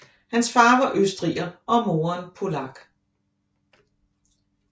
Hans far var østriger og moderen polak